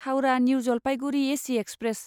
Howrah new Jalpaiguri AC express